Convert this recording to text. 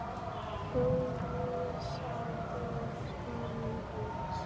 Þú vísaðir honum út.